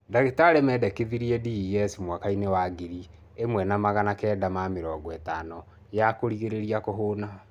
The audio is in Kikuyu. Ndagĩtarĩ mendekithirie DES mwakainĩ wa ngiri ĩmwe na magana kenda na mĩrongo ĩtano ya kũrigĩrĩria kũhuna.